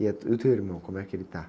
E a, e o teu irmão, como é que ele está?